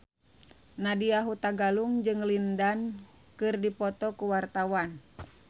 Nadya Hutagalung jeung Lin Dan keur dipoto ku wartawan